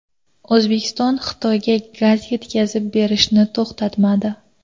O‘zbekiston Xitoyga gaz yetkazib berishni to‘xtatmadi.